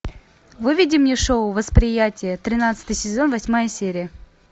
выведи мне шоу восприятие тринадцатый сезон восьмая серия